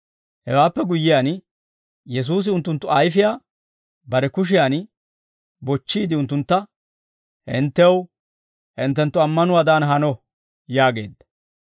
Hewaappe guyyiyaan, Yesuusi unttunttu ayfiyaa bare kushiyaan bochchiide unttuntta, «Hinttew hinttenttu ammanuwaadan hano» yaageedda.